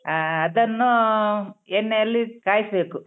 ಹ ಅದನ್ನೂ ಎಣ್ಣೆ ಅಲ್ಲಿ ಕಾಯ್ಸ್‌ಬೇಕು.